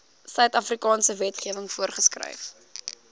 suidafrikaanse wetgewing voorgeskryf